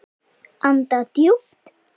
Anda djúpt.